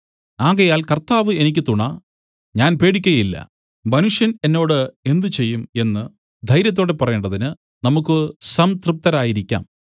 ആകയാൽ കർത്താവ് എനിക്ക് തുണ ഞാൻ പേടിക്കയില്ല മനുഷ്യൻ എന്നോട് എന്ത് ചെയ്യും എന്നു ധൈര്യത്തോടെ പറയേണ്ടതിന് നമുക്ക് സംതൃപ്തരായിരിക്കാം